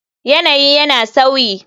Yanayi yana sauyi.